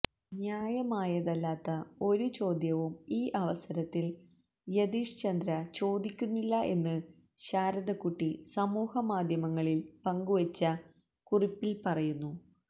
ന്യായമായതല്ലാത്ത ഒരു ചോദ്യവും ഈ അവസരത്തില് യതീഷ് ചന്ദ്ര ചോദിക്കുന്നില്ല എന്ന് ശാരദക്കുട്ടി സമൂഹമാധ്യമങ്ങളില് പങ്കുവെച്ച കുറിപ്പില് പറയുന്നു